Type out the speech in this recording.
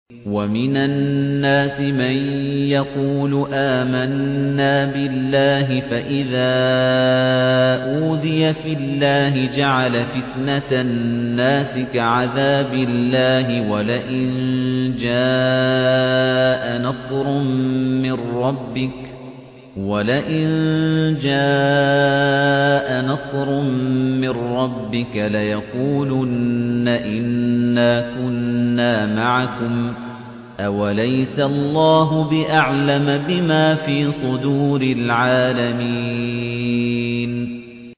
وَمِنَ النَّاسِ مَن يَقُولُ آمَنَّا بِاللَّهِ فَإِذَا أُوذِيَ فِي اللَّهِ جَعَلَ فِتْنَةَ النَّاسِ كَعَذَابِ اللَّهِ وَلَئِن جَاءَ نَصْرٌ مِّن رَّبِّكَ لَيَقُولُنَّ إِنَّا كُنَّا مَعَكُمْ ۚ أَوَلَيْسَ اللَّهُ بِأَعْلَمَ بِمَا فِي صُدُورِ الْعَالَمِينَ